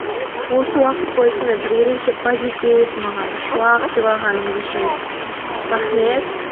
осы уақыт бойы сондай бір ерекше позитив маған шуақ сыйлағаныңыз үшін рахмет